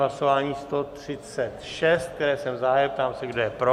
Hlasování 136, které jsem zahájil, ptám se, kdo je pro.